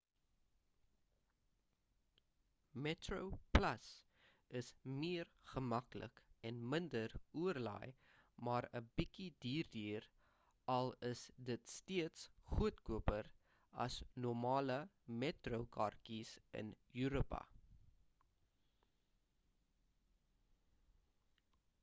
metroplus is meer gemaklik en minder oorlaai maar 'n bietjie duurder al is dit steeds goedkoper as normale metro kaartjies in europa